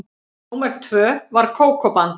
Númer tvö var Kókó-band.